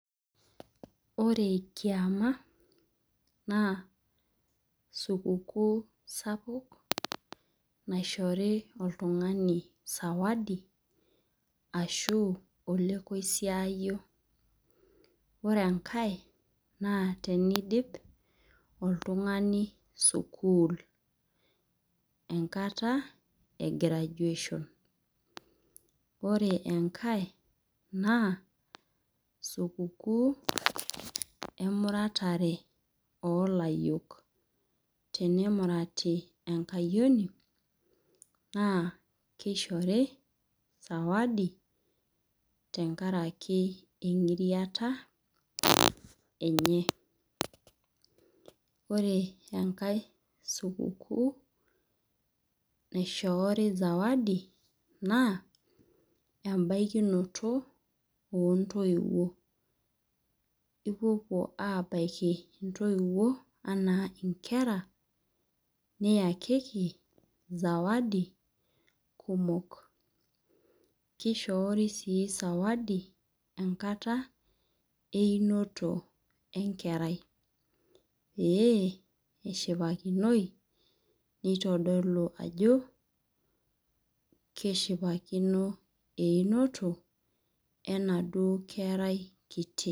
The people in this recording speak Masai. Ore kiama naa supukuu sapuk naishori oltungani sawadi ashu olekoisiyio. Ore ekae naa, tenidip oltungani sukuul. Enkata e graduation . Ore enkae naa, supukuu emuratare oo layiok, tenemurati enkayioni naa, kishori sawadi tenkaraki engiriata enye. Ore enkae supukuu naishorii sawadi naa ebaikinoto oo toiwuo ipopuo abaiki intoiwuo enaa inkera niyakiki sawadi kumok. Kishorii sii sawadi enkata einoto enkerai pee eshipakinoi nitodolu ajo keshipakino einoto enaduo kerai kiti.